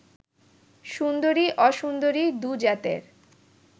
সুন্দরী অসুন্দরী দু জাতের